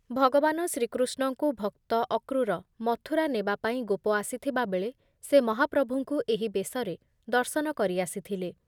ଭଗବାନ ଶ୍ରୀକୃଷ୍ଣଙ୍କୁ ଭକ୍ତ ଅକ୍ରୂର ମଥୁରା ନେବାପାଇଁ ଗୋପ ଆସିଥିବା ବେଳେ ସେ ମହାପ୍ରଭୁଙ୍କୁ ଏହି ବେଶରେ ଦର୍ଶନ କରିଆସିଥିଲେ ।